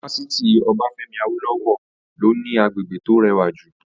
Fásitì Obafemi Awolowo ló ní agbègbè tó rẹwà jù